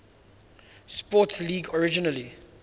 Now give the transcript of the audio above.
sports league originally